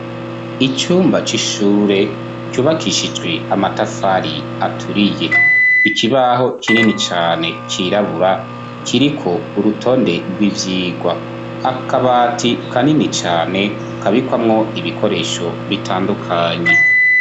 Icumba c'ishure ,ryubakishijwe amatafari aturiye ,ikibaho kinini cane cirabura ,kiriko urutonde rw'ivyigwa , akabati kanini cane kabikwamwo ibikoresho bitandukanye.